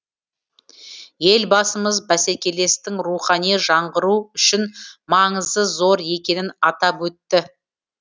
елбасымыз бәсекелестіктің рухани жаңғыру үшін маңызы зор екенін атап өтті